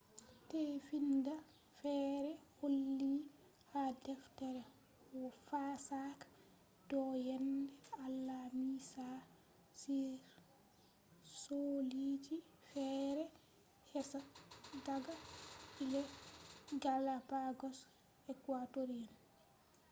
tefinda feere holli ha deftere fasaha do yende alamisa on cholliji feere kesa daga ecuadorean galapagos islands.